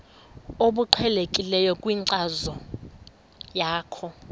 obuqhelekileyo kwinkcazo yakho